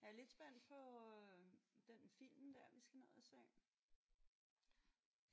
Jeg er lidt spændt på øh den film der vi skal ned at se